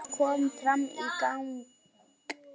Fjóla kom fram í gang.